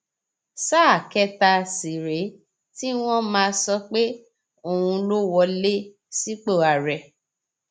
sáà kẹta sì rèé tí wọn máa sọ pé òun ló wọlé sípò àárẹ